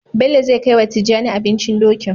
Bello zai kai wa tijjani abincin Dokin